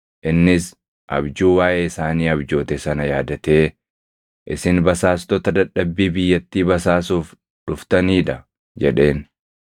Innis abjuu waaʼee isaanii abjoote sana yaadatee, “Isin basaastota dadhabbii biyyattii basaasuuf dhuftanii dha!” jedheen.